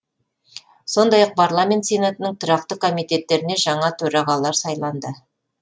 сондай ақ парламент сенатының тұрақты комитеттеріне жаңа төрағалар сайланды